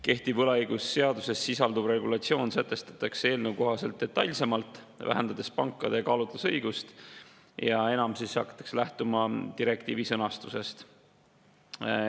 Kehtiv võlaõigusseaduses sisalduv regulatsioon sätestatakse eelnõu kohaselt detailsemalt, vähendades pankade kaalutlusõigust, ja enam hakatakse lähtuma direktiivi sõnastusest.